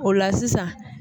O la sisan